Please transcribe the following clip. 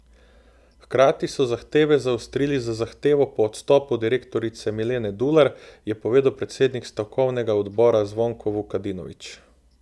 Hkrati so zahteve zaostrili z zahtevo po odstopu direktorice Milene Dular, je povedal predsednik stavkovnega odbora Zvonko Vukadinovič.